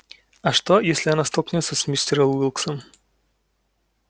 а что если она столкнётся с мистером уилксом